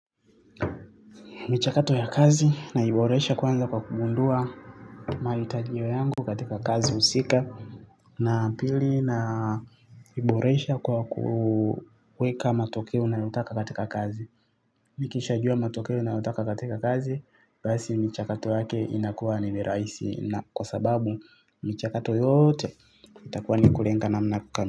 Michakato ya kazi naiboresha kwanza kwa kugundua mahitajio yangu katika kazi husika. Na pili naiboresha kwa kuweka matokeo nayotaka katika kazi. Nikisha jua matokeo nayotaka katika kazi basi michakato yake inakuwa ni mirahisi na kwa sababu michakato yote itakuwa ni kulenga namna ka.